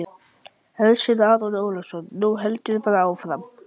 Hersir Aron Ólafsson: Nú heldurðu bara áfram?